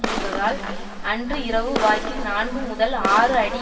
புகுந்ததால் அன்று இரவு வாக்கில் நான்கு முதல் ஆறு அடி